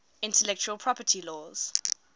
intellectual property laws